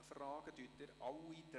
: Wandeln Sie alle drei Punkte?